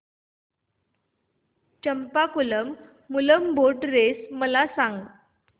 Champakulam Moolam boat race मला सांग